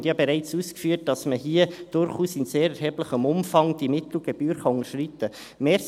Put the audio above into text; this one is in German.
Ich habe bereits ausgeführt, dass man hier durchaus in sehr erheblichem Umfang die Mittelgebühr unterschreiten kann.